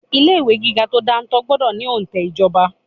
Ilé ìwé gíga tó dáńtọ́ gbọ́dọ̀ ní òǹtẹ̀ ìjọba.